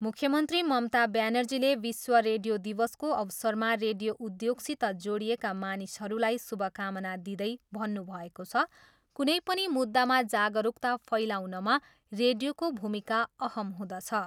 मुख्यमन्त्री ममता ब्यानर्जीले विश्व रेडियो दिवसको अवसरमा रेडियो उद्योगसित जोडिएका मानिसहरूलाई शुभकामना दिँदै भन्नुभएको छ, कुनै पनि मुद्दामा जागरुकता फैलाउनमा रेडियोको भूमिका अहम हुँदछ।